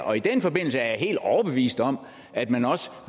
og i den forbindelse er jeg helt overbevist om at man også